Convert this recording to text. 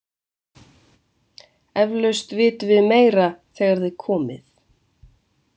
Eflaust vitum við meira þegar þið komið.